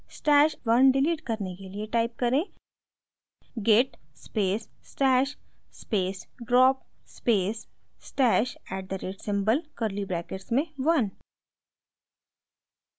stash @{1} delete करने के लिए type करें: git space stash space drop space stash @ at the rate symbol curly brackets में 1